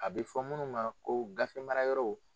A bɛ fɔ munnu ma ko gafe mara yɔrɔw.